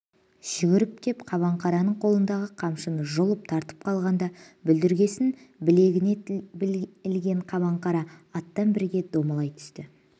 жүгіріп кеп қабанқараның қолындағы қамшысын жұлып тартып қалғанда бұлдіргесін білегіне ілген қабаңқара аттан бірге домалай түсті